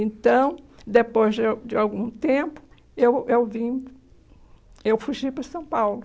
Então, depois de um de algum tempo, eu eu vim... Eu fugi para São Paulo.